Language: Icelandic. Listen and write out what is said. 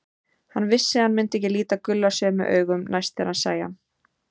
Hann vissi að hann myndi ekki líta Gulla sömu augum næst þegar hann sæi hann.